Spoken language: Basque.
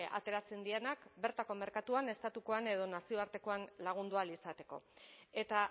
ateratzen direnak bertako merkatuan estatukoan edo nazioartekoan lagundu ahal izateko eta